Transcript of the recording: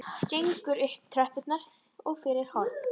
Gengur upp tröppur og fyrir horn.